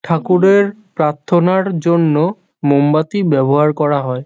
ঠাকুরের প্রার্থনার জন্য মোমবাতি ব্যবহার করা হয়।